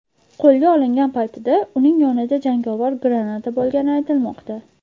Qo‘lga olingan vaqtida uning yonida jangovar granata bo‘lgani aytilmoqda.